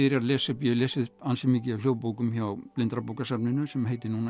er að lesa upp ég hef lesið ansi mikið af hljóðbókum hjá blindrabókasafninu sem heitir núna